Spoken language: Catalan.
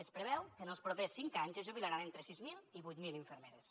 es preveu que en els propers cinc anys es jubilaran entre sis mil i vuit mil infermeres